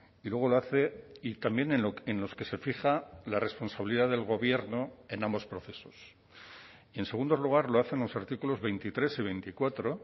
y luego lo hace y también en los que se fija la responsabilidad del gobierno en ambos procesos y en segundo lugar lo hace en los artículos veintitrés y veinticuatro